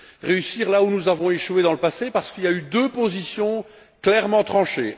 réussir là où nous avons échoué dans le passé parce qu'il y a eu deux positions clairement tranchées.